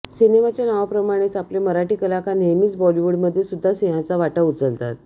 सिनेमाच्या नावाप्रमाणेच आपले मराठी कलाकार नेहमीच बॉलीवुडमध्येसुद्धा सिंहाचा वाटा उचलतात